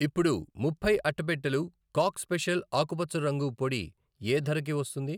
ఇప్పుడు ముప్పై అట్టపెట్టెలు కాక్ స్పెషల్ ఆకుపచ్చ రంగు పొడి యే ధరకి వస్తుంది?